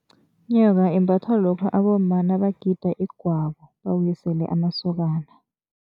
Inyoka imbathwa lokha abomma nabagida igwabo bawisele amasokana.